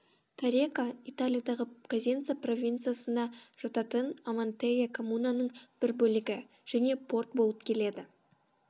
корека италиядағы козенца провинциясына жататын амантея коммунаның б р бөл г және порт болып келеді